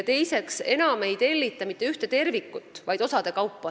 Teiseks, enam ei tellita mitte ühte tervikut, vaid arendatakse osade kaupa.